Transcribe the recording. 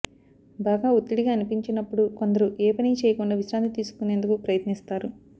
బాగా ఒత్తిడిగా అనిపించినప్పుడు కొందరు ఏ పనీ చేయకుండా విశ్రాంతి తీసుకునేందుకు ప్రయత్నిస్తారు